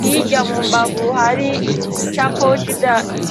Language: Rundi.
hirya mu mbavu hari icapo.